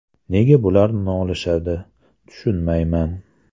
Nega bular nolishadi, tushunmayman.